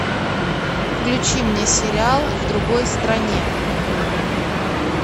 включи мне сериал в другой стране